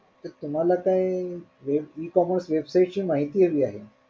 तुम्हाला काय web ecommerce website ची माहिती हवी आहे.